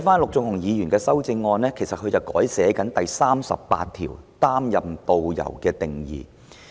陸頌雄議員在其修正案中，修訂《條例草案》第38條對導遊的定義。